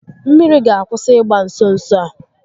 Mmiri ga akwụsị ịgba nso nso a